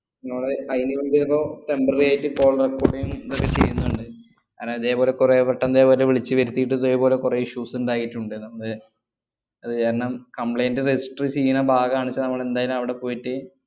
മ്മള് file compare ഓ temporary ആയിട്ട് call record ഉം register ചെയ്യുന്നുണ്ട്. അന്നാ ഇതേപോലെ കൊറേ പെട്ടെന്നിതുപോലെ വിളിച്ചുവരുത്തീട്ട് ഇതേപോലെ കൊറേ issues ഇണ്ടായിട്ടുണ്ട്. നമ്മള് അത് കാരണം complaint register ചെയ്യുന്ന ഭാഗാണെന്നുച്ചാ നമ്മള് എന്തായാലും അവിടെ പോയിട്ട്